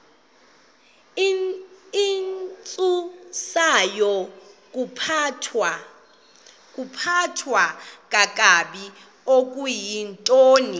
intsusayokuphathwa kakabi okuyintoni